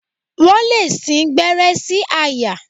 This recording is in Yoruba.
Wọ́n lè sí gbẹ́rẹ́ sí àyà.